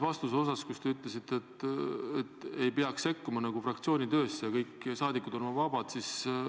Vastuse viimases osas te ütlesite, et ei peaks sekkuma fraktsiooni töösse ja kõik saadikud on vabad.